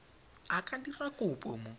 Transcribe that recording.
a ka dira kopo mo